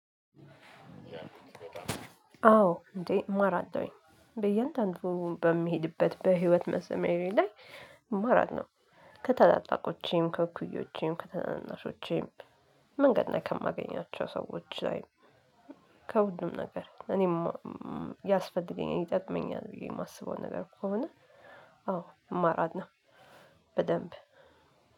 አዎ እንዴ እማራለሁኝ በያንዳንዱ በሚሄድበት በህይወት መስመሬ ላይ እማራለሁ። ከታላላቆቼም ከኩያዎቼም ከተናናሾቼም መንገድ ላይ ከማገኛቸው ሰዎች ላይ። ከሁሉም ነገር እኔ ያስፈልገኝ ይጠቅመኛል ብዬ የማስበው ነገር ከሆነ። አዎ እማራለሁ። በደንብ